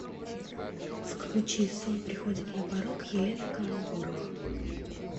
включи сон приходит на порог елена камбурова